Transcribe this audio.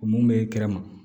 O mun bɛ kɛrɛma